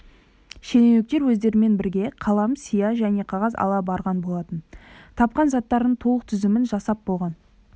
шенеуніктер өздерімен бірге қалам сия және қағаз ала барған болатын тапқан заттарының толық тізімін жасап болған